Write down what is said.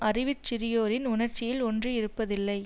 அறிவிற் சிறியோரின் உணர்ச்சியில் ஒன்றியிருப்பதில்லை